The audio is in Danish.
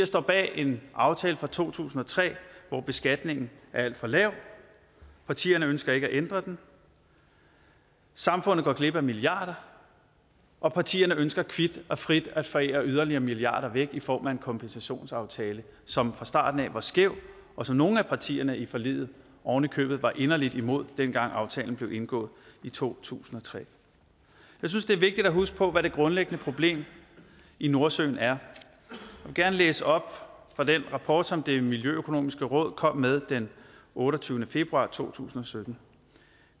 står bag en aftale fra to tusind og tre hvor beskatningen er alt for lav partierne ønsker ikke at ændre den samfundet går glip af milliarder og partierne ønsker kvit og frit at forære yderligere milliarder væk i form af en kompensationsaftale som fra starten af var skæv og som nogle af partierne i forliget ovenikøbet var inderlig imod dengang aftalen blev indgået i to tusind og tre jeg synes det er vigtigt at huske på hvad det grundlæggende problem i nordsøen er og gerne læse op fra den rapport som det miljøøkonomiske råd kom med den otteogtyvende februar to tusind og sytten